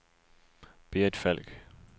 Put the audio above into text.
Berit Falk